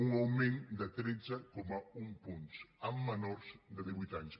un augment de tretze coma un punts en menors de divuit anys